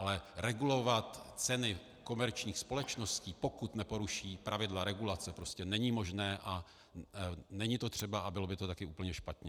Ale regulovat ceny komerčních společností, pokud neporuší pravidla regulace, prostě není možné a není to třeba a bylo by to taky úplně špatně.